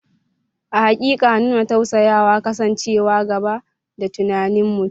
A haƙiƙa, nuna tausayawa, kasancewa gaba da tunanin mutum.